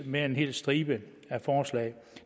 med en hel stribe af forslag